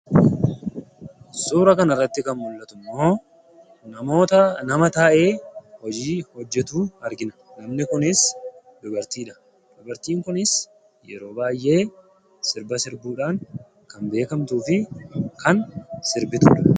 Suuraa kanarratti kan mul'atu immoo namoota nama taa'ee hojii hojjetu argina. Namni kunis dubartii dha. Dubartiin kunis yeroo baay'ee sirba sirbuudhaan kan beekamtuu fi kan sirbituu dha.